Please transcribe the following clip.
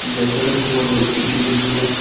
zeh antoh ley uki chu ngan ngo ley.